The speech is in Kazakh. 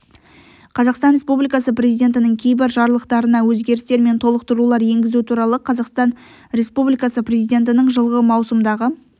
қазақстан республикасы президентінің кейбір жарлықтарына өзгерістер мен толықтырулар енгізу туралы қазақстан республикасы президентінің жылғы маусымдағы